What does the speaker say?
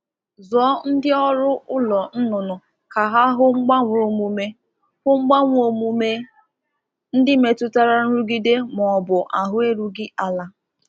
Zụpụta ndị ọrụ zụ anụ ọkụkọ ka ha na-elegharị mgbanwe omume nke na-egosi nrụgide maọbụ mwute sitere n'usoro ahụ.